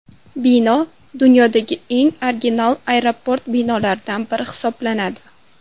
Bino dunyodagi eng original aeroport binolaridan biri hisoblanadi.